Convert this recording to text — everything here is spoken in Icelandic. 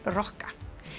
rokka